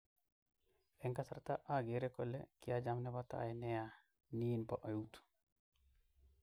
"Eng kasarta agere kole kiacham nepotai nea, nin po eut.